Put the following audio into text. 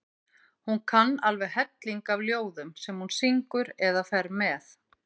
Hún kann alveg helling af ljóðum sem hún syngur eða fer með.